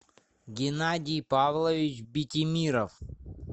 геннадий павлович битимиров